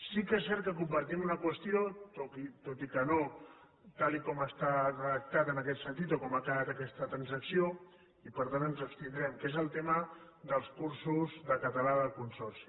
sí que és cert que compartim una qüestió tot i que no tal com està redactat en aquest sentit o com ha quedat aquesta transacció i per tant ens hi abstindrem que és tema dels cursos de català del consorci